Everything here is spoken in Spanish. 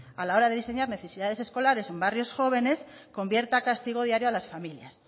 a la hora de diseñar necesidades escolares en barrio jóvenes convierta a castigo diario a las familias